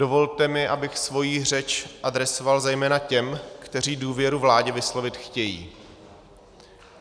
Dovolte mi, abych svoji řeč adresoval zejména těm, kteří důvodu vládě vyslovit chtějí.